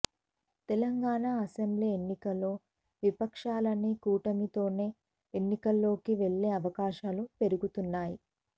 Telangana assembly ఎన్నికల్లో విపక్షాలన్నీ కూటమితోనే ఎన్నికల్లోకి వెళ్లే అవకాశాలు పెరుగుతున్నాయి